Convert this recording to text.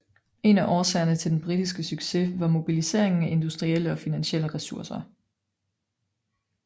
En af årsagerne til den britiske succes var mobiliseringen af industrielle og finansielle ressourcer